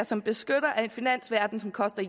som beskytter af en finansverden som koster